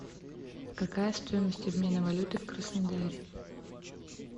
какая стоимость обмена валюты в краснодаре